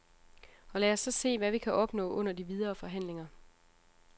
Og lad os så se, hvad vi kan opnå under de videre forhandlinger.